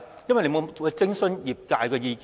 因為他沒有諮詢業界的意見。